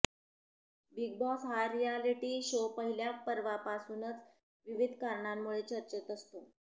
big Boss हा reality show पहिल्या पर्वापासूनच विविध कारणांमुळे चर्चेत असतो